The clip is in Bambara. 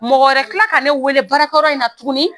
Mɔgɔ wɛrɛ kila ka ne weele baarakɛ yɔrɔ in na tuguni.